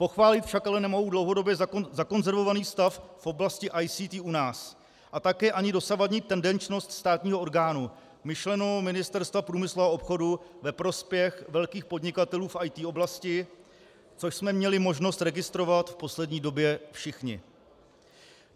Pochválit však ale nemohu dlouhodobě zakonzervovaný stav v oblasti ICT u nás a také ani dosavadní tendenčnost státního orgánu, myšleno Ministerstva průmyslu a obchodu, ve prospěch velkých podnikatelů v IT oblasti, což jsme měli možnost registrovat v poslední době všichni.